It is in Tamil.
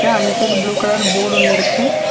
அந்த சைடு ப்ளூ கலர் போர்ட் ஒன்னு இருக்கு.